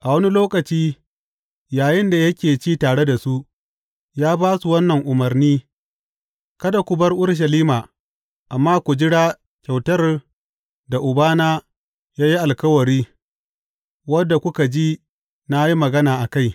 A wani lokaci, yayinda yake ci tare da su, ya ba su wannan umarni, Kada ku bar Urushalima, amma ku jira kyautar da Ubana ya yi alkawari, wadda kuka ji na yi magana a kai.